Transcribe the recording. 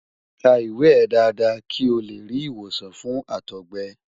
ka iwe e dada ki o le ri iwosan fun àtọgbẹ